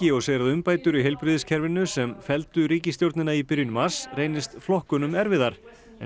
og segir að umbætur í heilbrigðiskerfinu sem felldu ríkisstjórnina í byrjun mars reynist flokkunum erfiðar